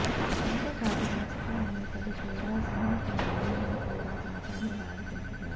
అంతేకాదు రాజకీయ నేతలు కూడా సినీ గ్లామర్ ను కూడా బాగానే వాడుకుంటున్నారు